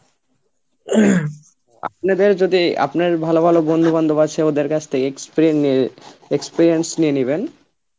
আপনাদের যদি আপনার ভালো ভালো বন্ধু-বান্ধব আছে ওদের কাছ থেকে experien~ experience নিয়ে নিবেন